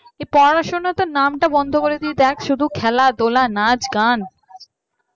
পড়াশোনাতে নামটা বন্ধ করে দিয়ে দেখ শুধু খেলাধুলা নাচ গান